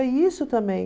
É isso também.